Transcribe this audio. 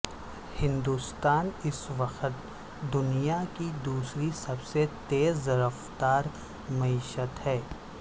ہندوستان اس وقت دنیا کی دوسری سب سے تیز رفتار معیشت ہے